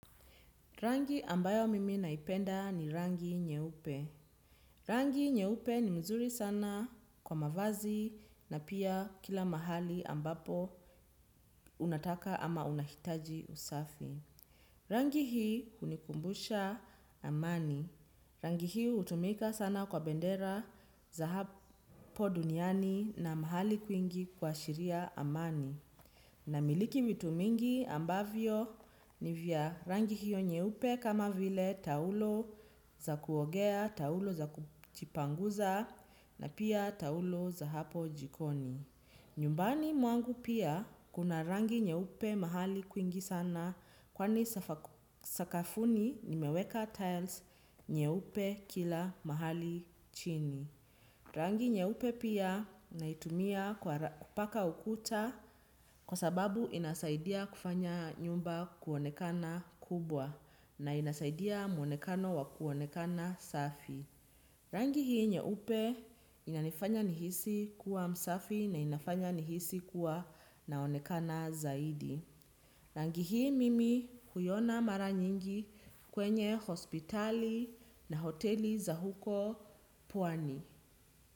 Rangi ambayo mimi naipenda ni rangi nyeupe. Rangi nyeupe ni mzuri sana kwa mavazi na pia kila mahali ambapo unataka ama unahitaji usafi. Rangi hii hunikumbusha amani. Rangi hii hutumika sana kwa bendera za hapo duniani na mahali kwingi kuashiria amani. Namiliki vitu mingi ambavyo ni vya rangi hiyo nyeupe kama vile taulo za kuogea, taulo za kujipanguza na pia taulo za hapo jikoni. Nyumbani mwangu pia kuna rangi nyeupe mahali kwingi sana kwani sakafuni nimeweka tiles nyeupe kila mahali chini. Rangi nyeupe pia naitumia kupaka ukuta kwa sababu inasaidia kufanya nyumba kuonekana kubwa na inasaidia mwonekano wa kuonekana safi. Rangi hii nyeupe inanifanya nihisi kuwa msafi na inafanya nihisi kuwa naonekana zaidi. Rangi hii mimi huiona mara nyingi kwenye hospitali na hoteli za huko pwani.